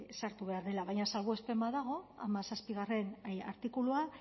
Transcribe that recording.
sartu behar dela baina salbuespen bat dago hamazazpigarrena artikuluan